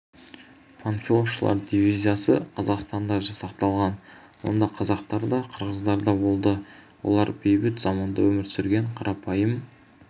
панфиловшылар дивизиясы қазақстанда жасақталған онда қазақтар да қырғыздар да болды олар бейбіт заманда өмір сүрген қарапайым